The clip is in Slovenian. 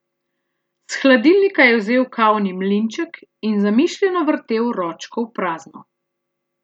S hladilnika je vzel kavni mlinček in zamišljeno vrtel ročko v prazno.